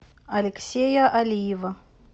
алексея алиева